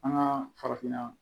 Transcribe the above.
An ka farafinna